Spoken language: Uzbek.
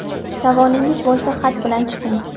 Savolingiz bo‘lsa, xat bilan chiqing.